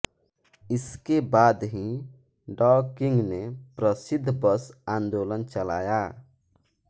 इसके बाद ही डॉ किंग ने प्रसिद्ध बस आंदोलन चलाया